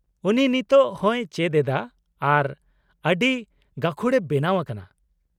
-ᱩᱱᱤ ᱱᱤᱛᱳ ᱦᱚᱸᱭ ᱪᱮᱫ ᱮᱫᱟ ᱟᱨ ᱟᱹᱰᱤ ᱜᱟᱹᱠᱷᱩᱲᱮ ᱵᱮᱱᱟᱣ ᱟᱠᱟᱱᱟ ᱾